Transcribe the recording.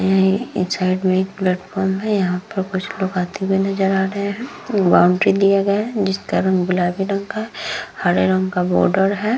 यहाँ ये एक साइड में एक प्लेटफार्म है। यहाँ पर कुछ लोग आते हुए नजर आ रहे हैं। बाउंड्री दिया गया है जिसका रंग गुलाबी रंग का है हरे रंग का बॉर्डर है।